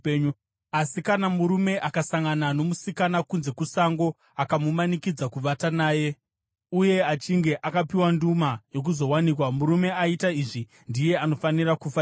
Asi kana murume akasangana nomusikana kunze kusango akamumanikidza kuvata naye, uye achinge akapiwa nduma yokuzowanikwa, murume aita izvi ndiye anofanira kufa chete.